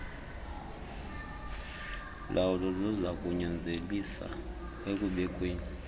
lawulo luzakunyanzelisa ekubekweni